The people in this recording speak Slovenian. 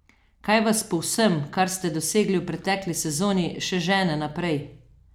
Kaj vas po vsem, kar ste dosegli v pretekli sezoni, še žene naprej?